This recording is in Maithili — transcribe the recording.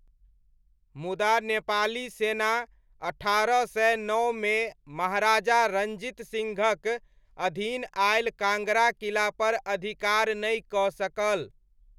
मुदा नेपाली सेना अठारह सय नओमे महाराजा रञ्जीत सिंहक अधीन आयल काङ्गड़ा किलापर अधिकार नहि कऽ सकल।